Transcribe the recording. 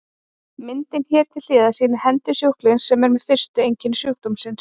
Myndin hér til hliðar sýnir hendur sjúklings með fyrstu einkenni sjúkdómsins.